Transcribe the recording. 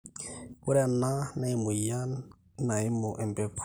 ore ena naa emweyian naimu empegu